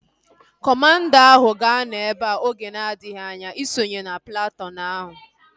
Kọmanda ahu ga-anọ ebea oge na-adịghị anya isonye platụụn ahu